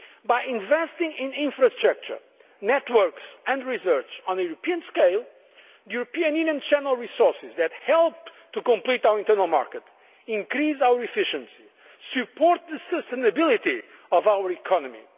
By investing in infrastructure, networks and research on a European scale, the European Union channels resources that help to complete our internal market, increase our efficiency and support the sustainability of our